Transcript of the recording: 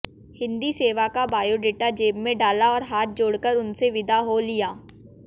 हिन्दी सेवा का बायोडेटा जेब में डाला और हाथ जोड़कर उनसे विदा हो लिया